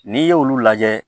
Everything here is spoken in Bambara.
N'i y'olu lajɛ